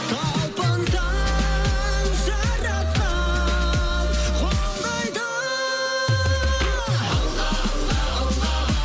талпынсаң жаратқан қолдайды алға алға алға